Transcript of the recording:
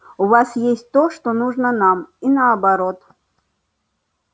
у вас есть то что нужно нам и наоборот